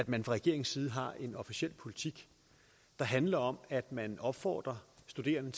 man fra regeringens side har en officiel politik der handler om at man opfordrer studerende